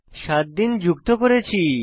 সাত দিন যুক্ত করেছি